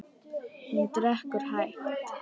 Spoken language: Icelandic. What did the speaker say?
Hún drekkur hægt.